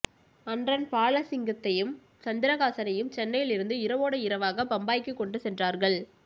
அன்ரன் பாலசிங்கத்தையும் சந்திரகாசனையும் சென்னையிலிருந்து இரவோடு இரவாக பம்பாய்க்கு கொண்டு சென்றார்கள்